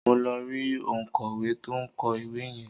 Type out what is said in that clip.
Mo lọ rí òǹkọ̀wé tó kọ ìwé yẹn.